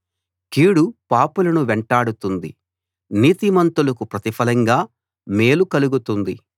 కీడు పాపులను వెంటాడుతుంది నీతిమంతులకు ప్రతిఫలంగా మేలు కలుగుతుంది